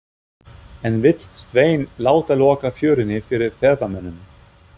En vill Sveinn láta loka fjörunni fyrir ferðamönnum?